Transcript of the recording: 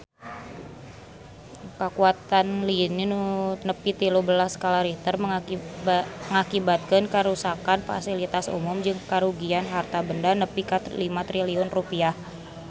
Kakuatan lini nu nepi tilu belas skala Richter ngakibatkeun karuksakan pasilitas umum jeung karugian harta banda nepi ka 5 triliun rupiah